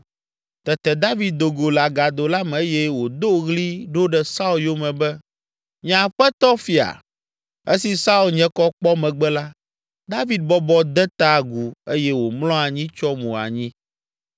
Tete David do go le agado la me eye wòdo ɣli ɖo ɖe Saul yome be, “Nye aƒetɔ, fia!” Esi Saul nye kɔ kpɔ megbe la, David bɔbɔ de ta agu eye wòmlɔ anyi tsyɔ mo anyi.